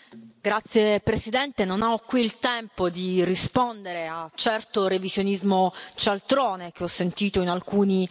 Signor Presidente, onorevoli colleghi, non ho qui il tempo di rispondere a certo revisionismo cialtrone, che ho sentito in alcuni